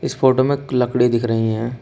इस फोटो में लकड़ी दिख रही हैं।